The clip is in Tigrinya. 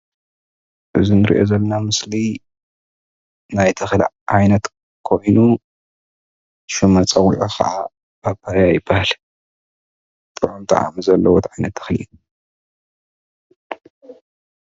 እዚ እንሪኦ ዘለና ምስሊ ናይ ተክሊ ዓይነት ኮይኑ ሽም መፀውዒዑ ክዓ ፓፓዮ ይበሃል፣ ጥዑም ጣዕሚ ዘለዎ ተክሊ እዩ፡፡